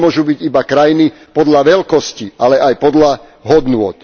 To nemôžu byť iba krajiny podľa veľkosti, ale aj podľa hodnôt.